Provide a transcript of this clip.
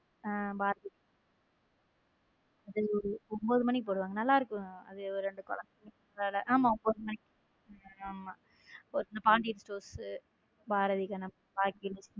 பாரதி கண்ணம்மாஒன்பது மணிக்கு போடுவாங்க நல்லா இருக்கும் அது ரெண்டு குழந்தைங்க ஆமாம் ஒன்பது மணிக்கு போடுவாங்க ஆமா பாண்டியன் ஸ்டோர்ஸ் பாரதி கண்ணம்மா பாக்கியலட்சுமி.